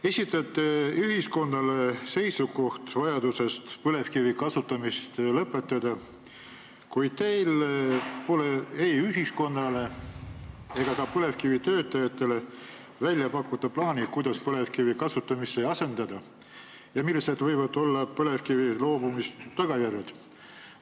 Te esitate ühiskonnale seisukoha, et on vajadus põlevkivi kasutamine lõpetada, kuid teil pole ei ühiskonnale ega ka põlevkivisektori töötajatele välja pakkuda plaani, kuidas põlevkivi asendada ja millised võivad olla põlevkivist loobumise tagajärjed.